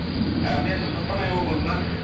і мен қостанай облысынан